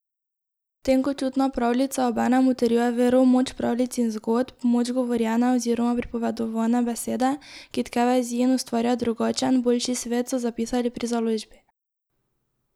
Tenkočutna pravljica obenem utrjuje vero v moč pravljic in zgodb, v moč govorjene oziroma pripovedovane besede, ki tke vezi in ustvarja drugačen, boljši svet, so zapisali pri založbi.